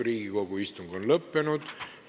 Riigikogu istung on lõppenud.